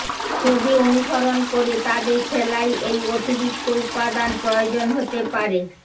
ছবি অনুসরণ করে তাদের সেলাই এই অতিরিক্ত উপাদান প্রয়োজন হতে পারে